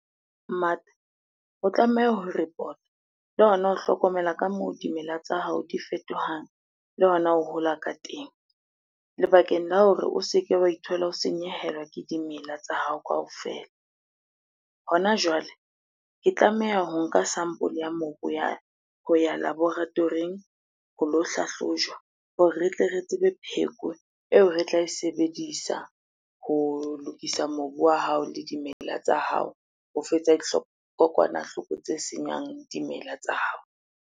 Mmata o tlameha ho report-a le hona ho hlokomela ka moo dimela tsa hao di fetohang, le hona ho hola ka teng. Le bakeng la hore o se ke wa ithola o senyehelwa ke dimela tsa hao kaofela. Hona jwale, ke tlameha ho nka sample ya mobu ya ho ya laboratory-ing ho lo hlahlojwa hore re tle re tsebe pheko eo re tla e sebedisa ho lokisa mobu wa hao le dimela tsa hao ho fetsa kokwanahloko tse senyang dimela tsa hao.